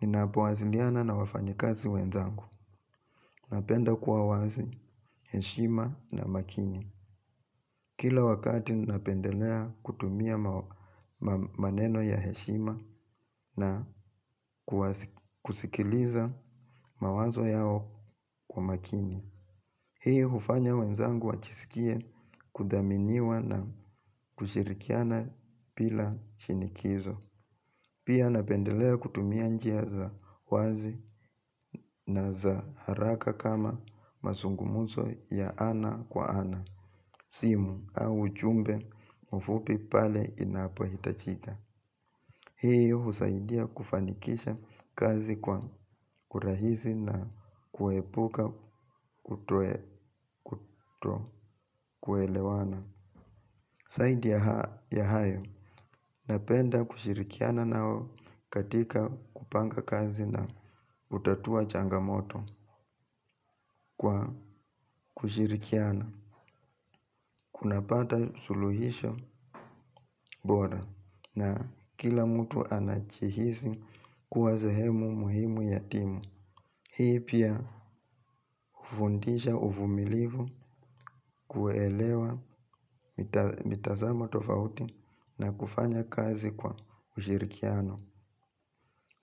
Ninapowasiliana na wafanyikazi wenzangu. Napenda kuwa wazi, heshima na makini. Kila wakati napendelea kutumia maneno ya heshima na kusikiliza mawazo yao kwa makini. Hiyo hufanya wenzangu wajisikie kuthaminiwa na kushirikiana bila shinikizo. Pia napendelea kutumia njia za wazi na za haraka kama mazungumuzo ya ana kwa ana, simu au jumbe mfupi pale inapo hitajika. Hiyo husaidia kufanikisha kazi kwa urahisi na kuepuka kuto kuelewana. Zaidi ya hayo napenda kushirikiana nao katika kupanga kazi na hutatua changamoto kwa kushirikiana. Kunapata suluhisho bora na kila mtu anajihisi kuwa sehemu muhimu ya timu. Hii pia hufundisha uvumilivu kuelewa mitazamo tofauti na kufanya kazi kwa ushirikiano.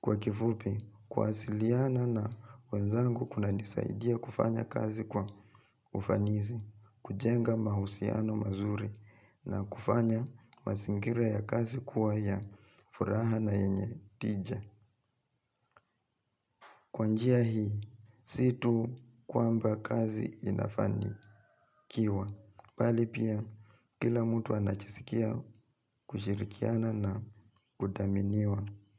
Kwa kifupi, kuwasiliana na wenzangu kunanisaidia kufanya kazi kwa ufanisi, kujenga mahusiano mazuri na kufanya mazingira ya kazi kuwa ya furaha na yenye tija. Kwa njia hii, sio tu kwamba kazi inafani. Kiwa, bali pia kila mtu anajisikia kushirikiana na kuthaminiwa.